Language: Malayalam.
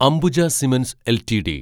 Ambuja cements LTD